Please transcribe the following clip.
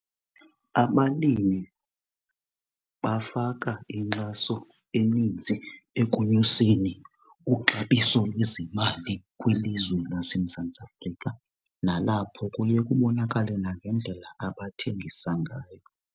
Abalimi bafaka inkxaso eninzi ekonyuseni uxabiso lwezemali kwilizwe laseMzantsi Afrika nalapho kuye kubonakale nangendlela abathengisa ngayo.